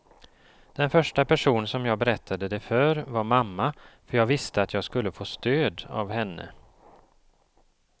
Den första person som jag berättade det för var mamma, för jag visste att jag skulle få stöd av henne.